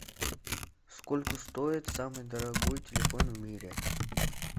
сколько стоит самый дорогой телефон в мире